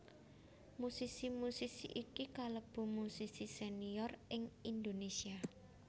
Musisi musisi iki kalebu musisi senior ing Indonesia